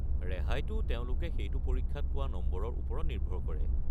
ৰেহাইটো তেওঁলোকে সেইটো পৰীক্ষাত পোৱা নম্বৰৰ ওপৰত নিৰ্ভৰ কৰে।